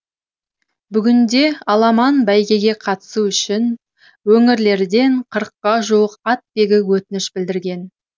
бүгінде аламан бәйгеге қатысу үшін өңірлерден қырыққа жуық атбегі өтініш білдірген